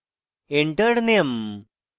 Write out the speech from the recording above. enter name: